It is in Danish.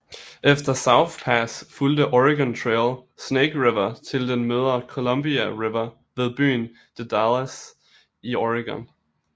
Efter South Pass fulgte Oregon Trail Snake River til den møder Columbia River ved byen The Dalles i Oregon